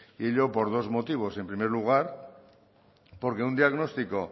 y ello por dos motivos en primer lugar porque un diagnóstico